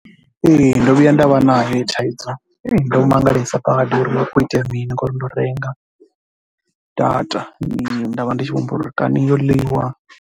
Ee ndo vhuya nda vha nayo heyo thaidzo, ndo mangalesa zwo ri hu khou itea mini ngauri ndo renga data. Nda vha ndi tshi vho humbula uri kani yo ḽiwa.